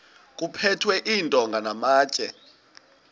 kuphethwe iintonga namatye